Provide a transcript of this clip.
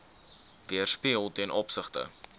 weerspieël ten opsigte